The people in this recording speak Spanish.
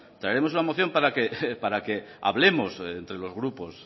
traeremos una moción para que hablemos entre los grupos